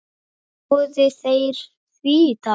Ráða þeir því, Dagur?